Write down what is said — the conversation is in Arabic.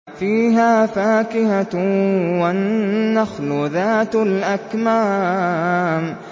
فِيهَا فَاكِهَةٌ وَالنَّخْلُ ذَاتُ الْأَكْمَامِ